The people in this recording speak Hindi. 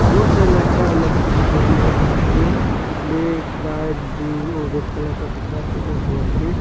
बहुत सारा लड़का और लड़की दिखाई दे रहा है जो ब्लैक व्हाइट ब्लू और रेड कलर का कपड़ा पहना हुआ है।